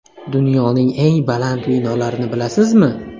Dunyoning eng baland binolarini bilasizmi?.